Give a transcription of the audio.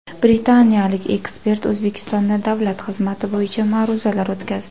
Britaniyalik ekspert O‘zbekistonda davlat xizmati bo‘yicha ma’ruzalar o‘tkazdi.